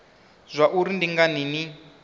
zwa uri ndi ngani ni